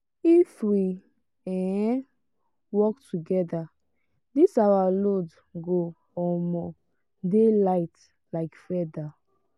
if we um work togeda dis our load go um dey light like feather